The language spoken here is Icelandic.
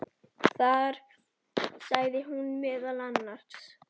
Þar sagði hún meðal annars